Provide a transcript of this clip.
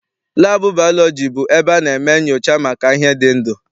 Laabụ baalọji bụ ebe a na-eme nnyocha maka ihe dị ndụ.